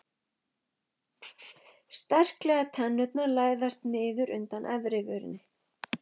Sterklegar tennurnar læðast niður undan efrivörinni.